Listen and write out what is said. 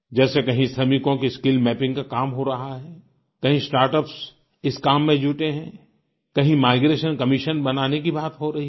जैसे कहीं श्रमिकों की स्किल मैपिंग का काम हो रहा है कहीं स्टार्टअप्स इस काम में जुटे हैं कहीं माइग्रेशन कमिशन बनाने की बात हो रही है